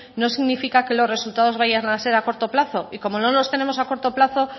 no significa que los resultados vayan a ser a corto plazo y como no los tenemos a corto plazo